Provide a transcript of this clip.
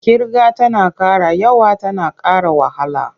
Ƙirga tana ƙara yawa tana ƙara wahala.